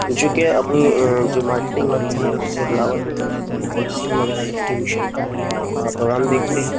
जेके अपनी-अं जो मार्केटिंग होती है उसे बढ़ावा देते हैं औ बगेरा डिस्ट्रीब्यूशन कअ देखते हैं।